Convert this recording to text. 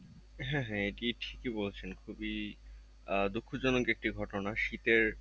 হ্যাঁ হ্যাঁ একি ঠিকি বলছেন খুবই আহ দুঃখজনক একটি ঘটনা শীতের,